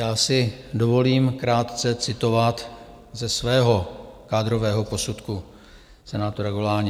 Já si dovolím krátce citovat ze svého kádrového posudku senátora Goláně.